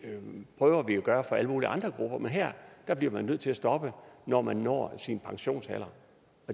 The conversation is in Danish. prøver vi at gøre for alle mulige andre grupper men her bliver man nødt til at stoppe når man når sin pensionsalder